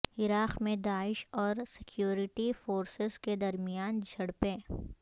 عراق میں داعش اور سیکورٹی فورسسز کے درمیان جھڑپیں